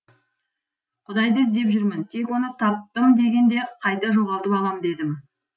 құдайды іздеп жүрмін тек оны таптым дегенде қайта жоғалтып алам дедім